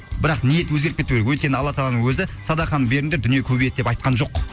бірақ ниет өзгеріп кетпеу керек өйткені алла тағаланың өзі садақаны беріңдер дүние көбейеді деп айтқан жоқ